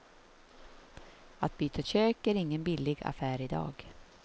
Att byta kök är ingen billig affär idag.